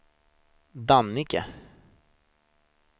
Dannike